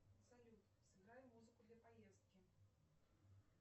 салют сыграй музыку для поездки